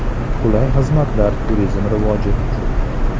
Qulay xizmatlar turizm rivoji uchun.